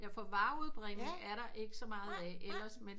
Ja for vareudbringning er der ikke så meget af ellers men